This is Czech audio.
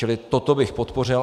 Čili toto bych podpořil.